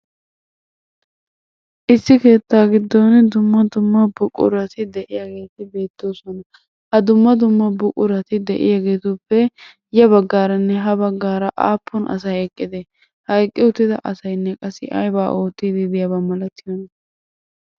Issi keettaa giddon dumma dumma buqurati de'iyageeti beettoosona. Ha dumma dumma buqurati de'iyageetuppe ya baggaaranne ha baggaara aappun asay eqqide? Ha eqqi uttida asayinne qassi ayibaa oottiiddi ditaba malatiyona?